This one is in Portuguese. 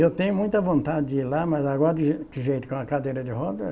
Eu tenho muita vontade de ir lá, mas agora, de que jeito com a cadeira de rodas,